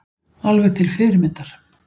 Alveg til fyrirmyndar